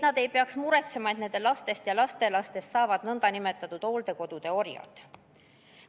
Nad ei tohiks muretseda, et nende lastest ja lastelastest saavad nn hooldekodude orjad.